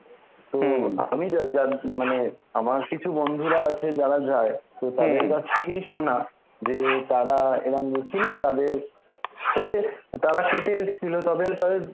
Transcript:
মানে আমার কিছু বন্ধুরা আছে যারা যায় তো তাদের কাছ থেকেই শোনা যে তারা এরাম গেছিল তাদের, তবে তারা কেটে এসছিল তবে তাদের